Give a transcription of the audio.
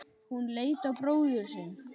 Hún leit á bróður sinn.